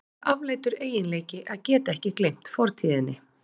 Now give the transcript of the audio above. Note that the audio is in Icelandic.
Það er afleitur eiginleiki að geta ekki gleymt fortíðinni.